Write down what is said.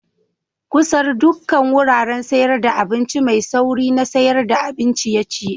Kusar dukan wuraren sayar da abinci mai sauri na sayar da abin ciye-ciye.